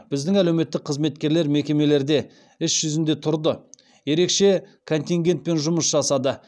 біздің әлеуметтік қызметкерлер мекемелерде іс жүзінде тұрды ерекше контингентпен жұмыс жасады